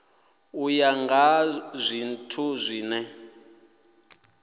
u ya nga zwithu zwine